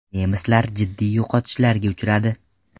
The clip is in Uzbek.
Nemislar jiddiy yo‘qotishlarga uchradi.